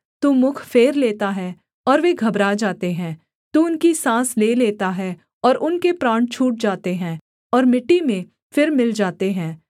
तू मुख फेर लेता है और वे घबरा जाते हैं तू उनकी साँस ले लेता है और उनके प्राण छूट जाते हैं और मिट्टी में फिर मिल जाते हैं